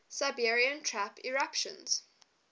siberian traps eruptions